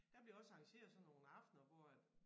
Der bliver også arrangeret sådan nogle aftener hvor at